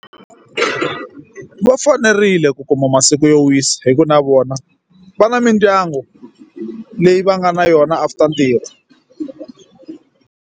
Va fanerile ku kuma masiku yo wisa hikuva na vona va na mindyangu leyi va nga na yona after ntirho.